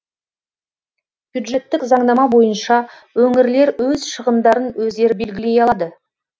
бюджеттік заңнама бойынша өңірлер өз шығындарын өздері белгілей алады